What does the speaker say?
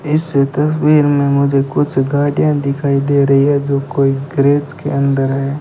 इससे तस्वीर में मुझे कुछ गाड़ियां दिखाई दे रही हैं जो कोई गैरेज के अंदर हैं।